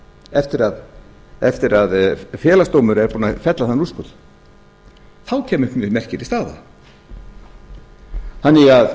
eftir að félagsdómur er búinn að fella þann úrskurð þá kæmi upp mjög merkileg staða þannig að